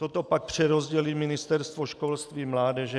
Toto pak přerozdělí Ministerstvo školství, mládeže.